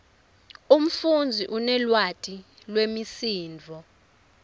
umfundzi unelwati lwemisindvo